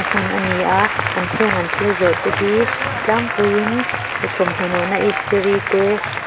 hmun ani a ah heng an thil zawrh te hi a tlangpuiin thawmhnaw nawh na istiri te.